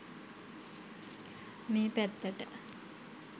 මේ පැත්තට.